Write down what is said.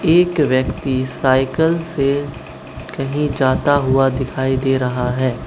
एक व्यक्ति साइकल से कहीं जाता हुआ दिखाई दे रहा है।